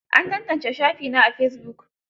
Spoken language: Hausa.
An tantance shafina a fesibuk.